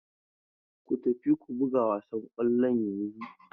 Ku tafi ku buga wasan kwallon yanzun!